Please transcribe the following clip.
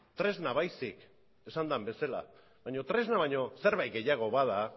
tresna baizik esan den bezala baino tresna baino zerbait gehiago bada